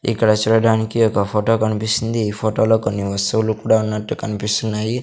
ఇక్కడ చూడడానికి ఒక ఫొటో కనిపిస్తుంది ఈ ఫొటో లో కొన్ని వస్తువులు కూడా ఉన్నట్టు కన్పిస్తున్నాయి.